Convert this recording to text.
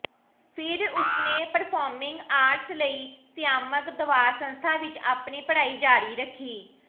ਫਿਰ ਉਸਨੇ performing arts ਲਈ ਸ਼ਿਆਮਕ ਦਵਾਰ ਸੰਸਥਾ ਵਿਚ ਆਪਣੀ ਪੜ੍ਹਾਈ ਜਾਰੀ ਰੱਖੀ